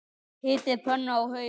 Hitið pönnu á háum hita.